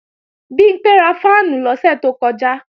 Bimpé ra fáànù lọ́sẹ̀ tó kọjá